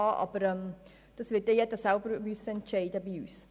Darüber werden innerhalb der EVP-Fraktion alle selber entscheiden müssen.